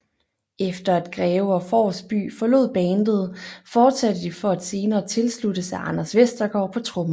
Efter at Greve og Forsby forlod bandet fortsatte de for at senere tilsluttes af Anders Vestergaard på trommer